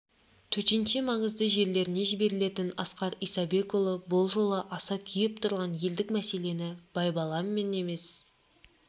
төтенше маңызды жерлеріне жіберілетін асқар исабекұлы бұл жолы аса күйіп тұрған елдік мәселені байбаламмен емес